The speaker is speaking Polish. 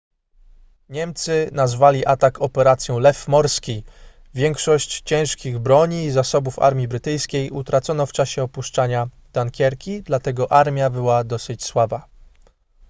niemcy nazwali atak operacją lew morski większość ciężkich broni i zasobów armii brytyjskiej utracono w czasie opuszczania dunkierki dlatego armia była dosyć słaba